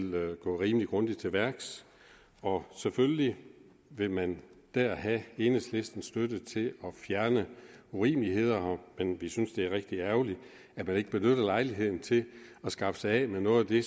gå rimelig grundigt til værks og selvfølgelig vil man dér have enhedslistens støtte til at fjerne urimeligheder men vi synes det er rigtig ærgerligt at man ikke benytter lejligheden til at skaffe sig af med noget af det